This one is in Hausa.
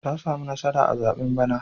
Ta sami nasara a zaɓen bana.